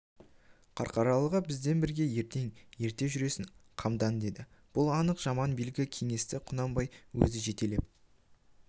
қарқаралыға бізбен бірге ертең ерте жүресің қамдан деді бұл анық жаман белгі кеңесті құнанбай өзі жетелеп